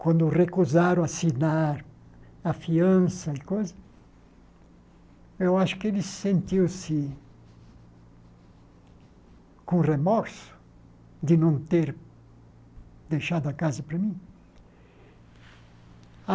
quando recusaram assinar a fiança e coisas, eu acho que ele sentiu-se com remorso de não ter deixado a casa para mim.